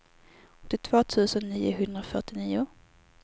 åttiotvå tusen niohundrafyrtionio